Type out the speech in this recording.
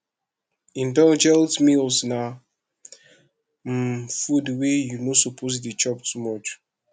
indulgent meals na um food wey you no suppose de chop too much